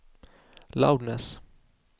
loudness